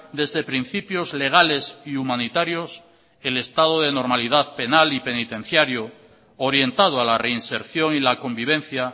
desde principios legales y humanitarios el estado de normalidad penal y penitenciario orientado a la reinserción y la convivencia